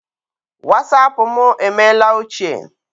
Wasapụ mụ emeela ochie.